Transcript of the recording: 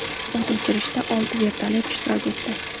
O‘t o‘chirishda olti vertolyot ishtirok etdi.